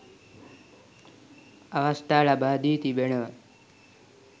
අවස්ථා ලබා දී තිබෙනවා